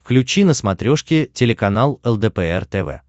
включи на смотрешке телеканал лдпр тв